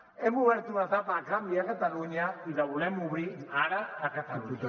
hem obert una etapa de canvi a catalunya i la volem obrir ara a catalunya